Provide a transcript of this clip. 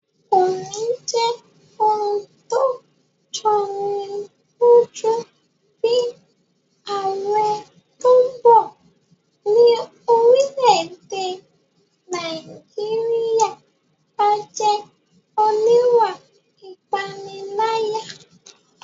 Kò ní jẹ́ ohun tó jọni lójú bí ààrẹ tó bọ̀ ní orílẹ̀-èdè Nàìjíríyà bá jẹ́ oníwà ìpániláyà